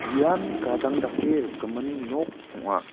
ian gadang dake rikgimin nok ong·a.